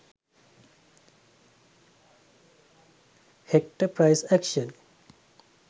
hector price action